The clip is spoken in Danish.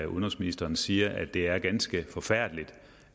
udenrigsministeren siger at det er ganske forfærdeligt